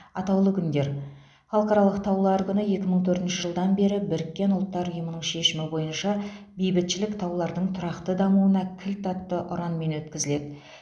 атаулы күндер халықаралық таулар күні екі мың төртінші жылдан бері біріккен ұлттар ұйымының шешімі бойынша бейбітшілік таулардың тұрақты дамуына кілт атты ұранмен өткізіледі